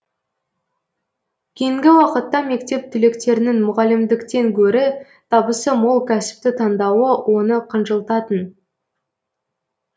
кейінгі уақытта мектеп түлектерінің мұғалімдіктен гөрі табысы мол кәсіпті таңдауы оны қынжылтатын